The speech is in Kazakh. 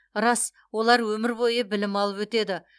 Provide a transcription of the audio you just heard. рас олар өмір бойы білім алып өтеді